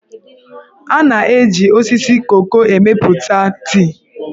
A na-eji osisi koko emepụta tii.